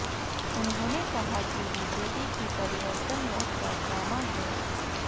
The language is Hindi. उन्होंने कहा कि बीजेपी की परिवर्तन यात्रा ड्रामा है